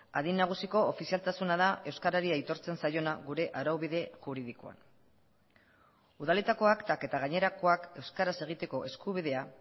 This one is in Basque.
adin nagusiko ofizialtasuna da euskarari aitortzen zaiona gure araubide juridikoan udaletako aktak eta gainerakoak euskaraz egiteko eskubidea